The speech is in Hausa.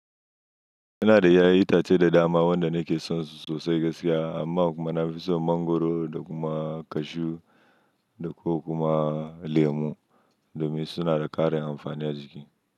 Ina da ƴaƴan itace da dama wanda nake son su sosai gaskiya amma kuma na fi son mangwaro da kuma cashew da ko kuma lemu domin suna da ƙarin amfani a jiki.